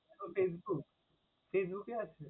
Facebook, facebook এ আছে?